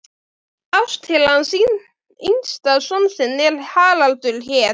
Ásta til hans hinn yngsta son sinn er Haraldur hét.